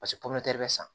bɛ san